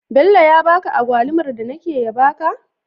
Bello ya baka agwalumar da nake ya baka?